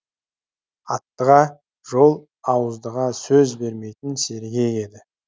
аттыға жол ауыздыға сөз бермейтін сергек еді